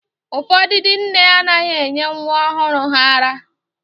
Ụfọdụ ndị nne anaghị enye nwa ọhụrụ ha ara